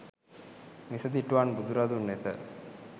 මිසදිටුවන් බුදුරදුන් වෙත